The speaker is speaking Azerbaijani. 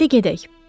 İndi gedək.